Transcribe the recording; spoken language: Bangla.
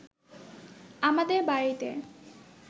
আমাদের বাড়িতে